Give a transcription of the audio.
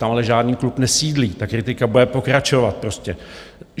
Tam ale žádný klub nesídlí, ta kritika bude pokračovat prostě.